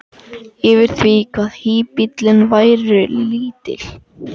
yfir því hvað híbýlin væru lítil.